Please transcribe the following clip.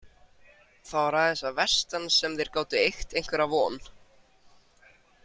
Það var aðeins að vestan sem þeir gátu eygt einhverja von.